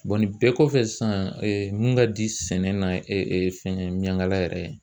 nin bɛɛ kɔfɛ sisan mun ka di sɛnɛ na fɛnkɛ miyankala yɛrɛ